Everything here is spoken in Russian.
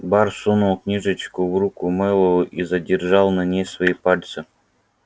бар сунул книжечку в руку мэллоу и задержал на ней свои пальцы